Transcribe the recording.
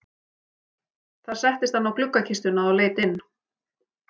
Þar settist hann á gluggakistuna og leit inn.